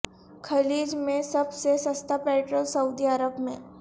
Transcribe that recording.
خلیج میں سب سے سستا پیٹرول سعودی عرب میں